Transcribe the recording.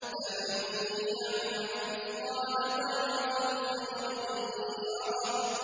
فَمَن يَعْمَلْ مِثْقَالَ ذَرَّةٍ خَيْرًا يَرَهُ